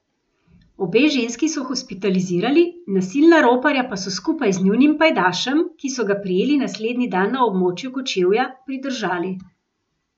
Obe ženski so hospitalizirali, nasilna roparja pa so skupaj z njunim pajdašem, ki so ga prijeli naslednji dan na območju Kočevja, pridržali.